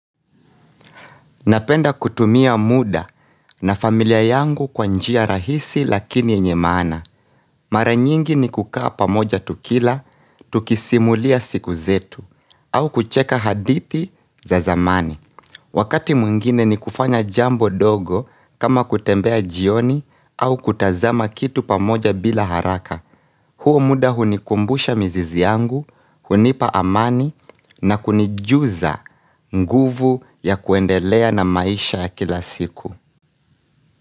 Napenda kutumia muda na familia yangu kwa njia rahisi lakini yenye maana. Mara nyingi ni kukaa pamoja tukila, tukisimulia siku zetu, au kucheka hadithi za zamani. Wakati mwingine ni kufanya jambo dogo kama kutembea jioni au kutazama kitu pamoja bila haraka. Huo muda hunikumbusha mizizi yangu, hunipa amani na kunijuza nguvu ya kuendelea na maisha ya kila siku.